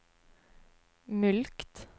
mulkt